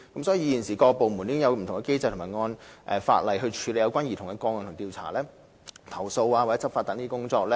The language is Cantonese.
所以，現時各部門已有不同機制或按法例處理有關兒童個案的調查、投訴或執法等工作。